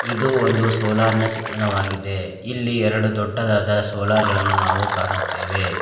ಇದು ಒಂದು ಸೋಲಾರ್ ನ ಚಿತ್ರಣವಾಗಿದೆ ಇಲ್ಲಿ ಎರಡು ದೊಡ್ಡದಾದ ಸೋಲಾರ್ ಗಳನ್ನು ನಾವು ಕಾಣುತ್ತೆವೆ.